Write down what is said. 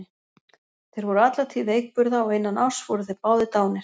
Þeir voru alla tíð veikburða og innan árs voru þeir báðir dánir.